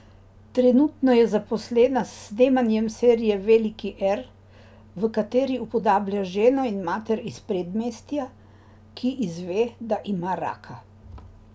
Trenutno je zaposlena s snemanjem serije Veliki R, v kateri upodablja ženo in mater iz predmestja, ki izve, da ima raka.